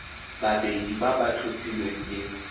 babedi ba ba tlhophilweng ke